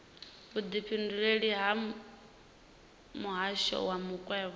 vhudifhinduleleli ha muhasho wa makwevho